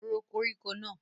Ró koríko náà!